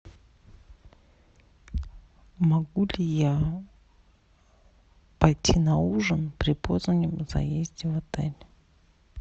могу ли я пойти на ужин при позднем заезде в отель